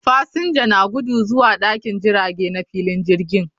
Fasinja na gudu zuwa dakin jirage na filin jirgin